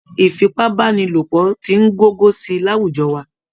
Ìfipábánilòpọ̀ ti ń gogo sí i láwùjọ wa